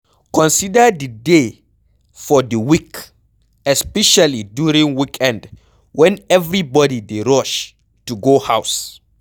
Consider the day for di week, especially during weekend when everybody dey rush to go house